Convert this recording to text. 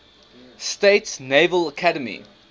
states naval academy